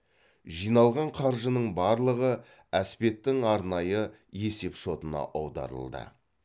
жиналған қаржының барлығы әспеттің арнайы есеп шотына аударылды